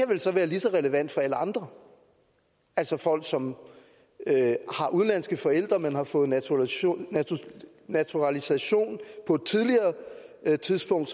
vel så være lige så relevant for alle andre altså folk som har udenlandske forældre men har fået naturalisation naturalisation på et tidligere tidspunkt